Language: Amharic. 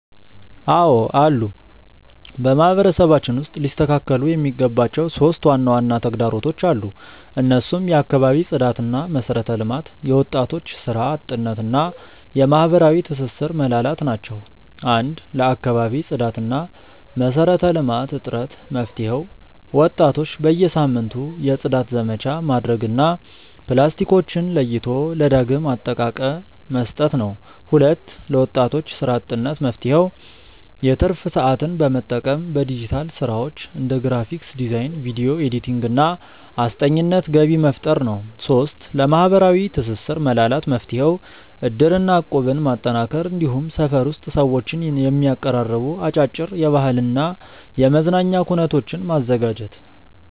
አዎ አሉ። በማህበረሰባችን ውስጥ ሊስተካከሉ የሚገባቸው 3 ዋና ዋና ተግዳሮቶች አሉ። እነሱም የአካባቢ ጽዳትና መሰረተ ልማት፣ የወጣቶች ስራ አጥነት እና የማህበራዊ ትስስር መላላት ናቸው። 1. ለአካባቢ ጽዳትና መሰረተ ልማት እጥረት መፍትሄው፦ ወጣቶች በየሳምንቱ የጽዳት ዘመቻ ማድረግ እና ፕላስቲኮችን ለይቶ ለዳግም አጠቃቀ መስጠት ነው። 2. ለወጣቶች ስራ አጥነት መፍትሄው፦ የትርፍ ሰዓትን በመጠቀም በዲጂታል ስራዎች (እንደ ግራፊክ ዲዛይን፣ ቪዲዮ ኤዲቲንግ) እና አስጠኚነት ገቢ መፍጠር ነው። 3. ለማህበራዊ ትስስር መላላት መፍትሄው፦ እድርና እቁብን ማጠናከር፣ እንዲሁም ሰፈር ውስጥ ሰዎችን የሚያቀራርቡ አጫጭር የባህልና የመዝናኛ ኩነቶችን ማዘጋጀት።